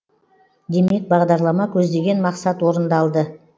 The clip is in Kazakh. демек бағдарлама көздеген мақсат орындалды